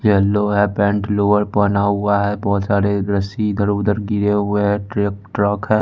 Yellow है pant lower पहना हुआ है बहोत सारे रस्सी इधर उधर गिरे हुए है ट्रे ट्रक है।